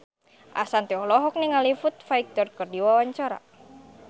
Ashanti olohok ningali Foo Fighter keur diwawancara